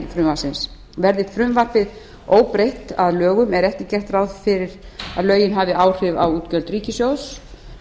frumvarpsins verði frumvarpið óbreytt að lögum er ekki gert ráð fyrir að lögin hafi áhrif á útgjöld ríkissjóðs